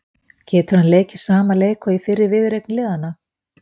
Getur hann leikið sama leik og í fyrri viðureign liðanna?